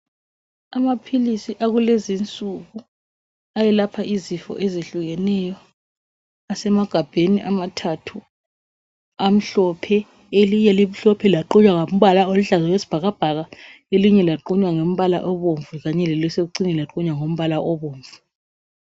Amaphilisi akulezinsuku ayelapha izifo ezehlukeneyo asemagabheni amathathu amhlophe , elinye limhlophe laqunywa ngombala oluhlaza okwesibhakabhaka elinye laqunywa ngombala obomvu kanye kelisekucineni laqunywa ngombala obomvu